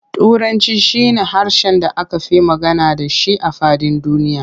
Turanci shi na harshen da aka fi magana da shi a faɗin duniya.